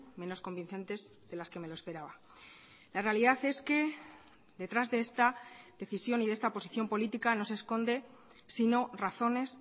menos convincentes de las que me lo esperaba la realidad es que detrás de esta decisión y de esta posición política no se esconde sino razones